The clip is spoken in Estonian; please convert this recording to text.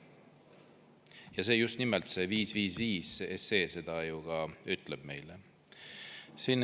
Ja just nimelt see 555 SE seda ka ütleb meile.